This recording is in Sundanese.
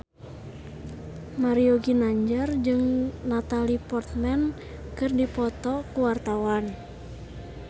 Mario Ginanjar jeung Natalie Portman keur dipoto ku wartawan